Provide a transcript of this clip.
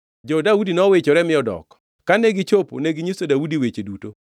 Jo-Daudi nowichore mi odok. Kane gichopo, neginyiso Daudi weche duto.